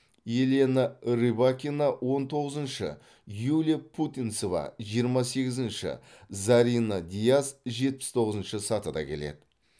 елена рыбакина он тоғызыншы юлия путинцева жиырма сегізінші зарина дияс жетпіс тоғызыншы сатыда келеді